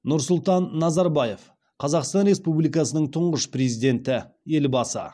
нұрсұлтан назарбаев қазақстан республикасының тұңғыш президенті елбасы